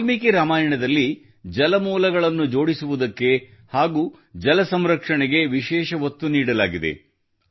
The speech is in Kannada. ವಾಲ್ಮೀಕಿ ರಾಮಾಯಣದಲ್ಲಿ ಜಲಮೂಲಗಳನ್ನು ಜೋಡಿಸುವುದಕ್ಕೆ ಹಾಗೂ ಜಲ ಸಂರಕ್ಷಣೆಗೆ ವಿಶೇಷ ಒತ್ತು ನೀಡಲಾಗಿದೆ